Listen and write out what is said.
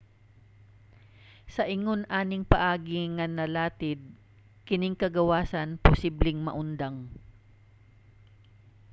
sa ingon aning paagi nga nalatid kining kagawasan posibleng maundang